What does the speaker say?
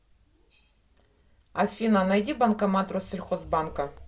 афина найди банкомат россельхозбанка